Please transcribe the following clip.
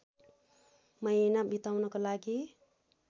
महिना बिताउनका लागि